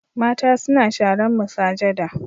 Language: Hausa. Mata suna sharan masujada.